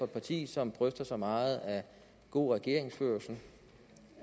parti som bryster sig meget af god regeringsførelse